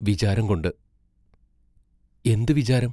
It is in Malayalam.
വിചാരംകൊണ്ട് എന്തു വിചാരം?